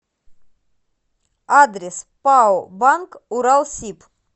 адрес пао банк уралсиб